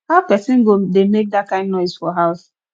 how person go dey make dat kin noise for house